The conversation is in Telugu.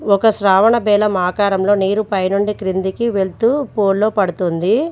ఒక శ్రావణ బేలా ఆకారంలో నీరు పైనుండి క్రిందికి వెళ్తూ బౌల్ లో పడుతుంది.